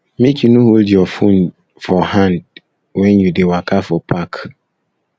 make you no hold you phone for hand wen you dey waka for park